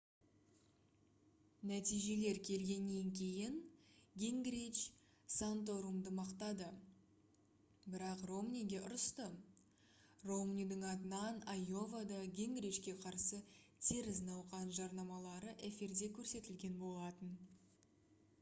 нәтижелер келгеннен кейін гингрич санторумды мақтады бірақ ромниге ұрысты ромнидің атынан айовада гингричке қарсы теріс науқан жарнамалары эфирде көрсетілген болатын